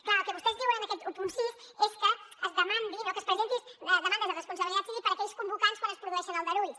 clar el que vostès diuen en aquest setze és que es demandi que es presentin demandes de responsabilitat civil per aquells convocants quan es produeixen aldarulls